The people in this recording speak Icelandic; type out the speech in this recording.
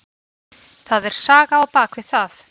Það er saga á bak við það.